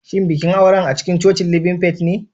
Shin bikin auren acikincocin living faith ne?